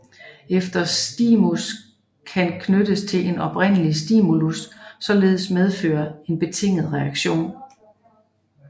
Enhver stimus kan knyttes til en oprindelig stimulus og således medføre en betinget reaktion